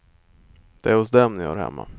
Det är hos dem ni hör hemma.